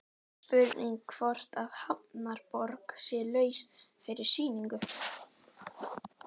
Spurning hvort að Hafnarborg sé laus fyrir sýningu?